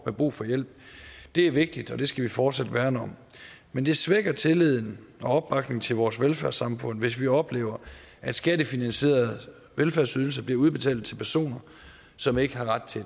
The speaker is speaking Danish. har brug for hjælp det er vigtigt og det skal vi fortsat værne om men det svækker tilliden og opbakningen til vores velfærdssamfund hvis vi oplever at skattefinansierede velfærdsydelser bliver udbetalt til personer som ikke har ret til